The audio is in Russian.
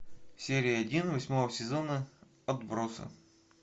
серия один восьмого сезона отбросы